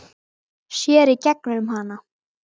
Sér í gegnum hana.